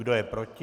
Kdo je proti?